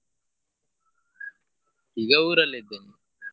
ಈಗ ಊರಲ್ಲಿ ಇದ್ದೇನೆ.